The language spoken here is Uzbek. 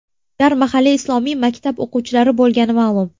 Ular mahalliy islomiy maktab o‘quvchilari bo‘lgani ma’lum.